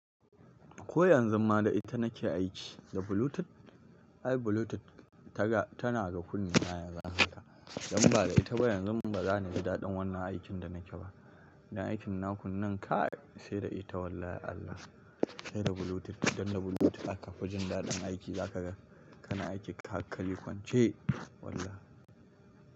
Ko yanzu ma da ita nake aiki, da Bluetooth. Ai Bluetooth tana ga kunnen na yanzu haka. Dan ba da ita ba yanzu ba za ni ji daɗin wannan aikin da nake ba. Idan aikin naku nun ka, sai da ita wallahi Allah. Sai da Bluetooth. Dan da Bluetooth aka fi jin daɗin aiki, zaka ga kana aiki ka hakali kwance wallah!